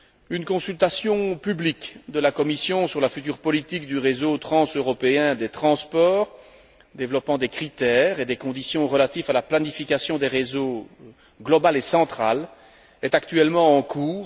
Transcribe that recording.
Une consultation publique de la Commission sur la future politique du réseau transeuropéen des transports développant des critères et des conditions relatives à la planification globale et centrale des réseaux est actuellement en cours.